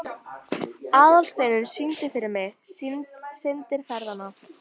Þú hefur Teitur málað mig meður grænum legi.